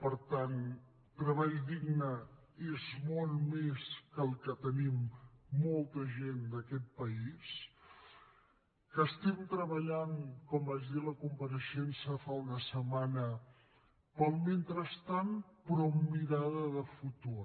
per tant treball digne és molt més que el que tenim molta gent d’aquest país que estem treballant com vaig dir a la compareixença fa una setmana pel mentrestant però amb mirada de futur